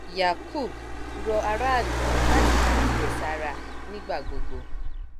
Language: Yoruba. yakub rọ aráàlú láti máa kíyè sára nígbà gbogbo